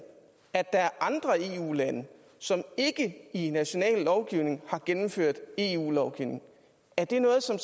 at der er andre eu lande som ikke i national lovgivning har gennemført eu lovgivning er det noget som